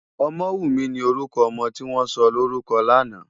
Omowunmi ni órùkò òmò tiwòn sòlórúkò làná